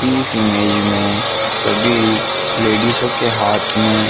इस इमेज मैं सभी लाडिज़्ज़ो के हाथ मैं--